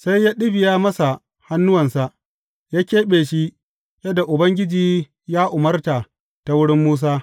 Sai ya ɗibiya masa hannuwansa, ya keɓe shi, yadda Ubangiji ya umarta ta wurin Musa.